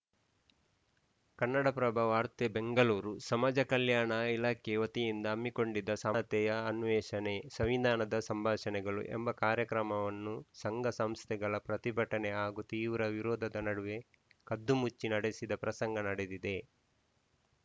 ಕನ್ನಡಪ್ರಭ ವಾರ್ತೆ ಬೆಂಗಳೂರು ಸಮಾಜ ಕಲ್ಯಾಣ ಇಲಾಖೆ ವತಿಯಿಂದ ಹಮ್ಮಿಕೊಂಡಿದ್ದ ಸಮಾನತೆಯ ಅನ್ವೇಷಣೆ ಸಂವಿಧಾನದ ಸಂಭಾಷಣೆಗಳು ಎಂಬ ಕಾರ್ಯಕ್ರಮವನ್ನು ಸಂಘ ಸಂಸ್ಥೆಗಳ ಪ್ರತಿಭಟನೆ ಹಾಗೂ ತೀವ್ರ ವಿರೋಧದ ನಡುವೆ ಕದ್ದುಮುಚ್ಚಿ ನಡೆಸಿದ ಪ್ರಸಂಗ ನಡೆದಿದೆ